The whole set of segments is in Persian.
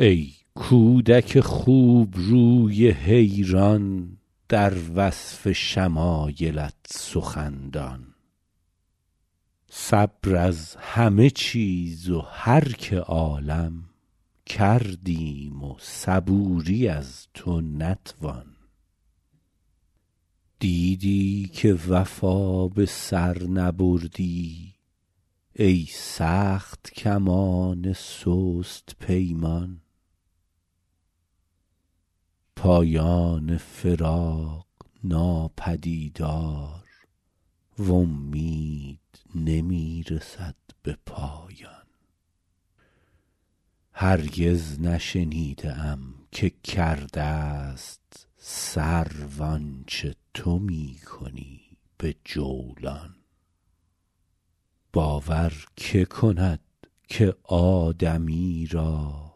ای کودک خوبروی حیران در وصف شمایلت سخندان صبر از همه چیز و هر که عالم کردیم و صبوری از تو نتوان دیدی که وفا به سر نبردی ای سخت کمان سست پیمان پایان فراق ناپدیدار و امید نمی رسد به پایان هرگز نشنیده ام که کرده ست سرو آنچه تو می کنی به جولان باور که کند که آدمی را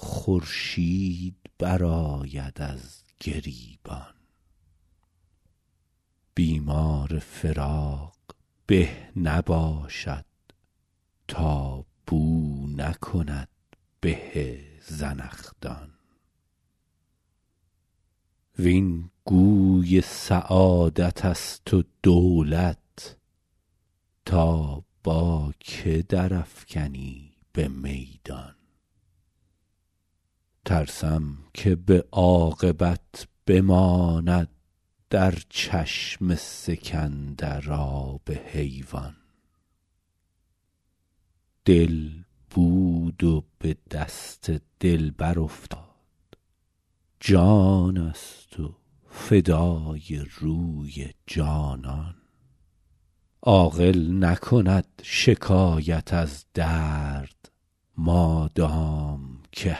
خورشید برآید از گریبان بیمار فراق به نباشد تا بو نکند به زنخدان وین گوی سعادت است و دولت تا با که در افکنی به میدان ترسم که به عاقبت بماند در چشم سکندر آب حیوان دل بود و به دست دلبر افتاد جان است و فدای روی جانان عاقل نکند شکایت از درد مادام که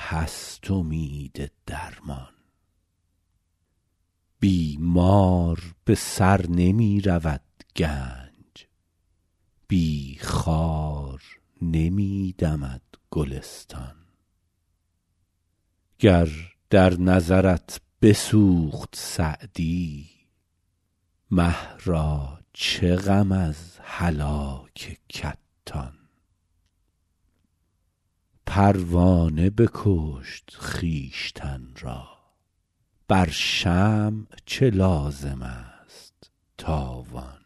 هست امید درمان بی مار به سر نمی رود گنج بی خار نمی دمد گلستان گر در نظرت بسوخت سعدی مه را چه غم از هلاک کتان پروانه بکشت خویشتن را بر شمع چه لازم است تاوان